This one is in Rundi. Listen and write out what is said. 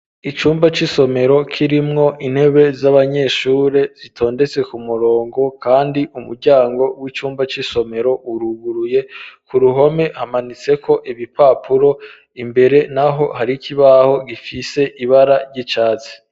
Icumba c'isomero kirimwo intebe z'abanyeshure zitondetse ku murongo, kandi umuryango w'icumba c'isomero uruburuye ku ruhome hamanitseko ibipapuro imbere na ho hari ikibaho gifise ibara ry'icatsi.